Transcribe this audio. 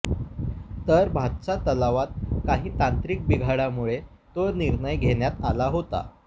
तर भातसा तलावात काही तांत्रिक बिघाडामुळे तो निर्णय घेण्यात आला होता